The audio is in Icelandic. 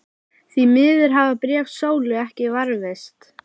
Því miður hafa bréf Sólu ekki varðveist.